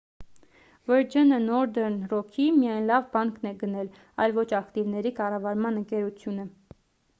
վըրջընը նորդըրն րոքի միայն «լավ բանկ»-ն է գնել այլ ոչ ակտիվների կառավարման ընկերությունը: